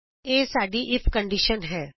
ਇਹ ਸਾਡੀ if condition ਹੈ